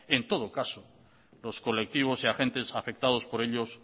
en todo caso los colectivos y agentes afectados por ellos